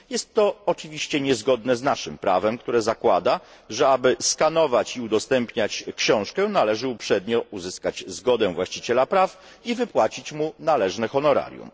Jest to oczywiście niezgodne z naszym prawem, które zakłada, że aby skanować i udostępniać książkę należy uprzednio uzyskać zgodę właściciela praw i wypłacić mu należne honorarium.